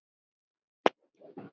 Eins og vera ber.